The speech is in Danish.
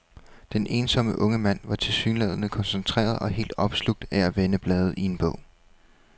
Den ensomme unge mand var tilsyneladende koncentreret og helt opslugt af at vende blade i en bog.